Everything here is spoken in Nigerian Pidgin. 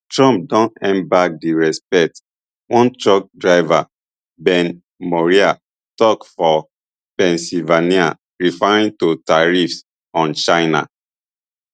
trump don earn back di respect one truck driver ben maurer tok for pennsylvania referring to tariffs on china